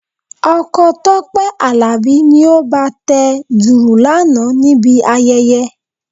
Ọkọ Tọ́pẹ́ Àlàbí ni ó bá a tẹ dùrù lánàá níbi ayẹyẹ.